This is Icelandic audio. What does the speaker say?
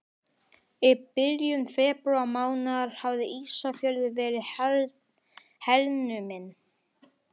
Í byrjun febrúarmánaðar hafði Ísafjörður verið hernuminn.